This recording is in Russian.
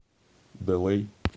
дэлэй